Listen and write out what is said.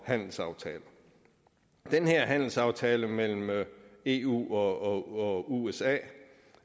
handelsaftaler den her handelsaftale mellem eu og usa